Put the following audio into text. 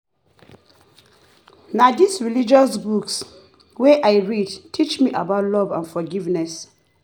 Na dis religious books wey I read teach me about love and forgiveness.